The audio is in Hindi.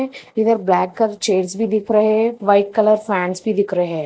इधर ब्लैक कलर चेयर्स भी दिख रहे हैं व्हाइट कलर फैंस भी दिख रहे हैं।